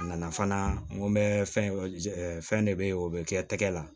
A nana fana n ko n bɛ fɛn de bɛ yen o bɛ kɛ tɛgɛ la